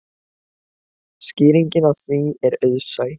Skýringin á því er auðsæ.